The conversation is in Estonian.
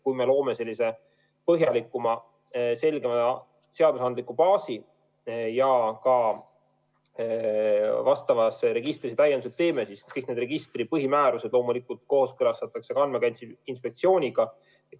Kui me loome põhjalikuma, selgema seadusandliku baasi ja ka vastavasse registrisse täiendused teeme, siis kõik need registri põhimäärused loomulikult kooskõlastatakse ka Andmekaitse Inspektsiooniga.